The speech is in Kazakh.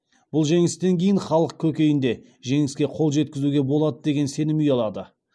бұл жеңістен кейін халық көкейінде жеңіске қол жеткізуге болады деген сенім ұялады